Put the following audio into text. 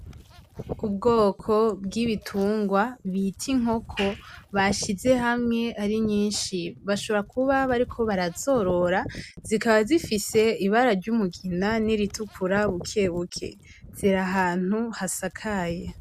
Ubwoko bw'ibitungwa bita inkoko, bashize hamwe ari nyinshi bashobora kuba bariko barazorora zikaba zifise ibara ry'umugina niritukura bukebuke ziri ahantu hasakaye.